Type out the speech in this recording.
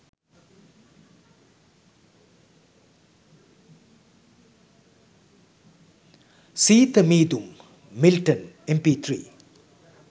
seetha meedum milton mp3